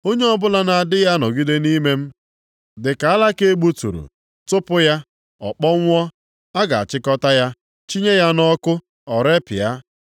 Onye ọbụla na-adịghị anọgide nʼime m dị ka alaka e gbuturu, tụpụ ya, ọ kpọnwụọ. A ga-achịkọta ya, chịnye ya nʼọkụ, o repịa.